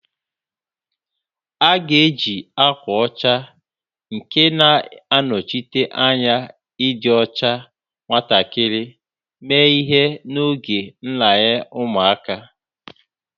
A ga-eji ákwà ọcha nke na-anọchite anya ịdị ọcha nwatakịrị mee ihe n'oge nraranye ụmụaka